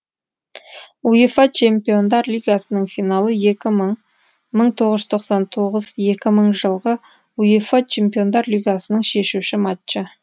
уефа чемпиондар лигасының финалы екі мың мың тоғыз жүз тоқсан тоғыз екі мың жылғы уефа чемпиондар лигасының шешуші матчы